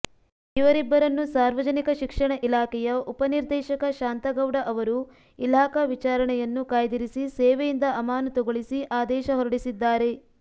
ಇವರಿಬ್ಬರನ್ನು ಸಾರ್ವಜನಿಕ ಶಿಕ್ಷಣ ಇಲಾಖೆಯ ಉಪನಿರ್ದೇಶಕ ಶಾಂತಗೌಡ ಅವರು ಇಲಾಖಾ ವಿಚಾರಣೆಯನ್ನು ಕಾಯ್ದಿರಿಸಿ ಸೇವೆಯಿಂದ ಅಮಾನತುಗೊಳಿಸಿ ಆದೇಶ ಹೊರಡಿಸಿದ್ದಾರೆ